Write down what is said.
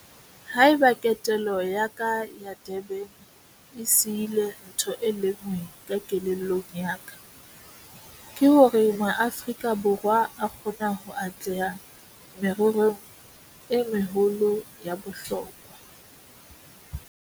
Ha eba ketelo ya ka ya Durban e sihile ntho e le nngwe ka kelellong ya ka, ke hore Maaforika Borwa a kgona ho atleha mererong e meholo ya bohlokwa.